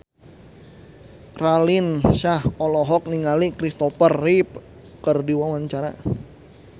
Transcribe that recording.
Raline Shah olohok ningali Christopher Reeve keur diwawancara